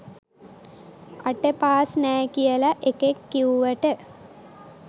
අට පාස් නෑ කියල එකෙක් කිව්වට